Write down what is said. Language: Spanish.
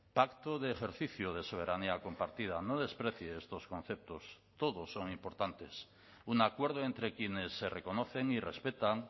pacto de ejercicio de soberanía compartida no desprecie estos conceptos todos son importantes un acuerdo entre quienes se reconocen y respetan